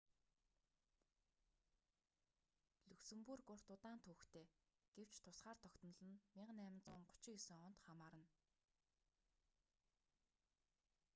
люксембург урт удаан түүхтэй гэвч тусгаар тогтнол нь 1839 онд хамаарна